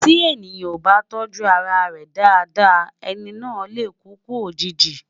tí èèyàn ọ bá tójú ará rè Dàda, ẹni nà lẹ kúkú òjìji